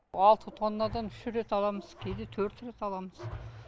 алты тоннадан үш рет аламыз кейде төрт рет аламыз